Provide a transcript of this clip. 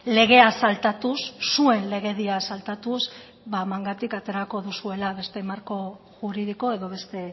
legea saltatuz zuen legedia saltatuz mangatik aterako duzuela beste marko juridiko edo beste